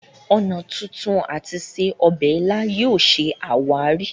ọnà tuntun àti se obè ila yóò ṣe àwáàrí.